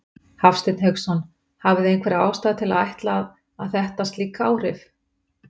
Hafsteinn Hauksson: Hafið þið einhverja ástæðu til að ætla að, að þetta slík áhrif?